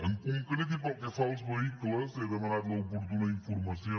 en concret i pel que fa als vehicles n’he demanat l’oportuna informació